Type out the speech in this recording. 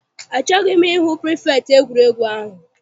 Achọghị m I hụ pirifektị egwuregwu ahụ.